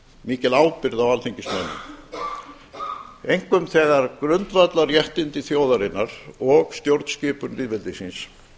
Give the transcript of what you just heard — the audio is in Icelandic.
mikil ábyrgð á alþingismönnum einkum þegar grundvallarréttindi þjóðarinnar og stjórnskipun lýðveldisins